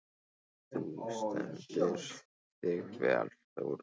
Þú stendur þig vel, Þórey!